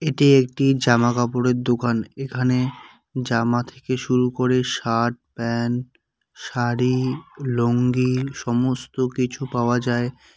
এটি একটি জামাকাপড়ের দোকান এখানে জামা থেকে শুরু করে শার্ট প্যান্ট শাড়ি লুঙ্গি সমস্ত কিছু পাওয়া যায়।